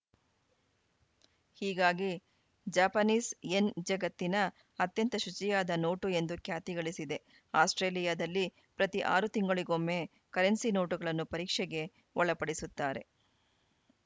ಹೀಗಾಗಿ Japanese yen ಜಗತ್ತಿನ ಅತ್ಯಂತ ಶುಚಿಯಾದ ನೋಟು ಎಂದು ಖ್ಯಾತಿ ಗಳಿಸಿದೆ ಆಸ್ಪ್ರೇಲಿಯಾದಲ್ಲಿ ಪ್ರತಿ ಆರು ತಿಂಗಳಿಗೊಮ್ಮೆ ಕರೆನ್ಸಿ ನೋಟುಗಳನ್ನು ಪರೀಕ್ಷೆಗೆ ಒಳಪಡಿಸುತ್ತಾರೆ